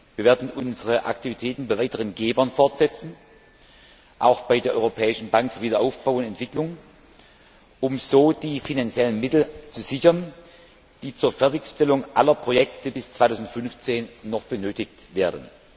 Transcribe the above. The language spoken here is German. Wir werden unsere Aktivitäten bei weiteren Gebern fortsetzen, auch bei der Europäischen Bank für Wiederaufbau und Entwicklung, um so die finanziellen Mittel zu sichern, die zur Fertigstellung aller Projekte bis 2015 noch benötigt werden.